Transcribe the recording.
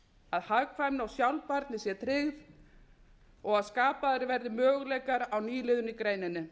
að hagkvæmni og sjálfbærni sé tryggð og að skapaðir verði möguleikar á nýliðun í greininni